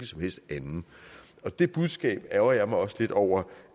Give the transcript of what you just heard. som helst anden og det budskab ærgrer jeg mig også lidt over